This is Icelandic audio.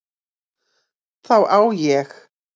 Þá á ég